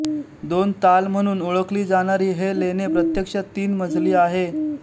दोन ताल म्हणून ओळखली जाणारी हे लेणे प्रत्यक्षात तीन मजली आहे